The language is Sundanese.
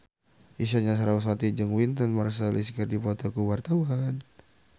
Isyana Sarasvati jeung Wynton Marsalis keur dipoto ku wartawan